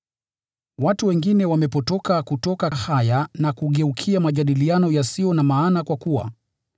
Watu wengine wamepotoka kutoka haya na kugeukia majadiliano yasiyo na maana kwa kuwa,